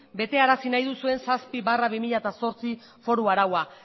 betearazi nahi duzuen zazpi barra bi mila zortzi foru araua